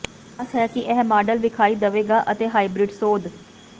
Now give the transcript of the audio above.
ਆਸ ਹੈ ਕਿ ਇਹ ਮਾਡਲ ਵੇਖਾਈ ਦੇਵੇਗਾ ਅਤੇ ਹਾਈਬ੍ਰਿਡ ਸੋਧ